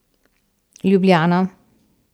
Ljubljana.